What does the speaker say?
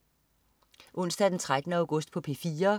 Onsdag den 13. august - P4: